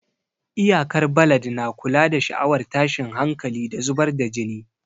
Iyakar balad na kula da sha'awar tashin hankali, da zubar da jini.